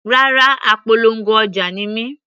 Rárá, apolongo ọjà ni mí.